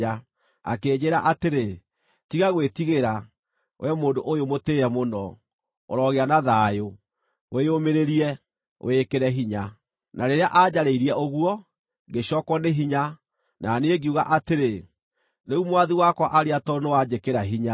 Akĩnjĩĩra atĩrĩ, “Tiga gwĩtigĩra, wee mũndũ ũyũ mũtĩĩe mũno, ũrogĩa na thayũ! Wĩyũmĩrĩrie; wĩĩkĩre hinya.” Na rĩrĩa aanjarĩirie ũguo, ngĩcookwo nĩ hinya, na niĩ ngiuga atĩrĩ, “Rĩu mwathi wakwa aria tondũ nĩwanjĩkĩra hinya.”